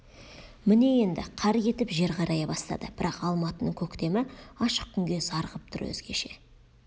міне енді қар кетіп жер қарая бастады бірақ алматының көктемі ашық күнге зар қып тұр өзгеше